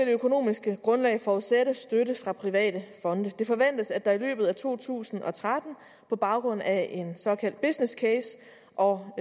det økonomiske grundlag forudsætte støtte fra private fonde det forventes at der i løbet af to tusind og tretten på baggrund af en såkaldt business case og